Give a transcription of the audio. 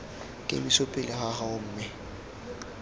kemiso pele ga gago mme